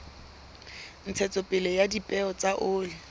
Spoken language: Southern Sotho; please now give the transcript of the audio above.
ntshetsopele ya dipeo tsa oli